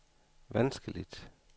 vanskeligt